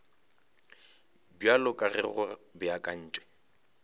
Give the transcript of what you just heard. bjalo ka ge go beakantšwe